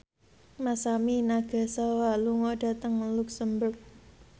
Masami Nagasawa lunga dhateng luxemburg